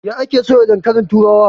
Ya ake soya dankalin turawa?